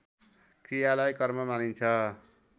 क्रियालाई कर्म मानिन्छ